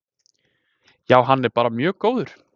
Já hann er bara mjög góður.